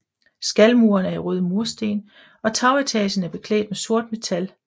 Skalmuren er i røde mursten og tagetagen er beklædt med sort metal